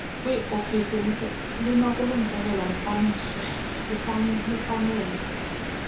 kwiofisi linokulungiselelwa lifanele